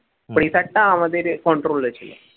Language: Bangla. pressure টা আমাদের control এ ছিল